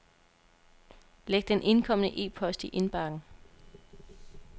Læg den indkomne e-post i indbakken.